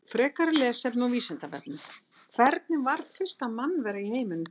Frekara lesefni á Vísindavefnum: Hvernig varð fyrsta mannvera í heiminum til?